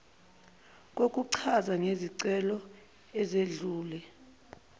kokuchaza ngezicelo ezedlule